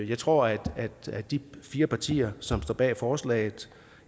jeg tror at de fire partier som står bag forslaget